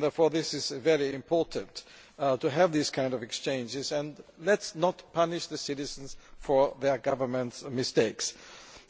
Therefore it is very important to have these kinds of exchanges, and let us not punish the citizens for their government's mistakes.